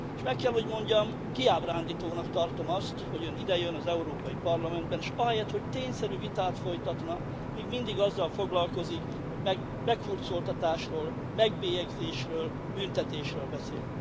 Meg kell, hogy mondjam, kiábrándítónak tartom azt, hogy Ön idejön az Európai Parlamentbe, és ahelyett, hogy tényszerű vitát folytatna, még mindig azzal foglalkozik, hogy meghurcoltatásról, megbélyegzésről, büntetésről beszél.